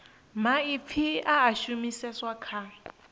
maipfi a a shumiseswa kha